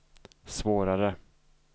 svårare